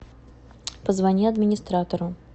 позвони администратору